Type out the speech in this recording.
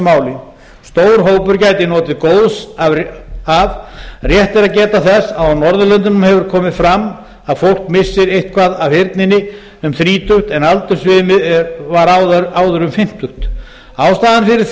og stór hópur gæti notið góðs af rétt er að geta þess að á norðurlöndum hefur komið fram að fólk missir eitthvað af heyrninni um þrítugt en aldursviðmiðið var áður um fimmtugt ástæðan fyrir